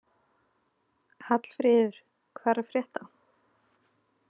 Hallfríður, hvað er að frétta?